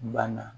Banna